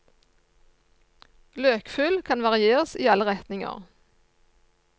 Løkfyll kan varieres i alle retninger.